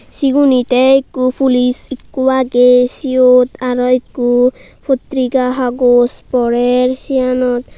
segunay tay eko police eko aagay seote arow eko potirika hagose porare seanot.